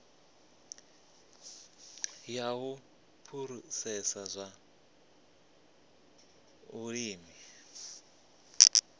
ya u phurosesa zwa vhulimi